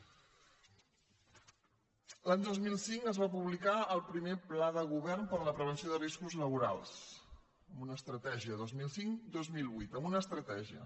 l’any dos mil cinc es va publicar el primer pla de govern per a la prevenció de riscos laborals amb una estratègia dos mil cincdos mil vuit amb una estratègia